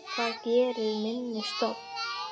Hvað gerir minni stofn?